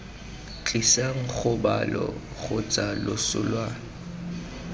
tlisang kgobalo kgotsa loso lwa